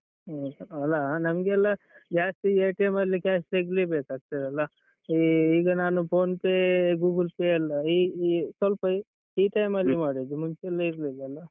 ಹ್ಮ್ ಅಲ್ಲಾ ನಮ್ಗೆಲ್ಲಾ ಜಾಸ್ತಿ ಅಲ್ಲಿ cash ತೆಗಿಲೇಬೇಕಾಗ್ತಾದಲ್ಲಾ ಈ ಈಗ ನಾನು Phonepe Google Pay ಎಲ್ಲಾ ಈ ಈ ಸ್ವಲ್ಪ ಈ time ಅಲ್ಲಿ ಮಾಡಿದ್ದು ಮುಂಚೆಯೆಲ್ಲ ಇರ್ಲಿಲ್ಲಲ್ಲ.